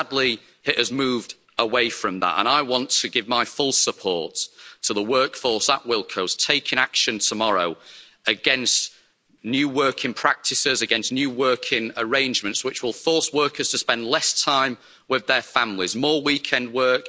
Sadly, it has moved away from that and I want to give my full support to the workforce at Wilko's taking action tomorrow against new working practices, against new working arrangements, which will force workers to spend less time with their families, more weekend work.